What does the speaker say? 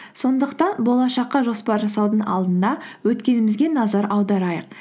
сондықтан болашаққа жоспар жасаудың алдында өткенімізге назар аударайық